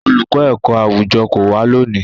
Olùkọ́ ẹ̀kọ́-àwùjọ kò wá lónìí.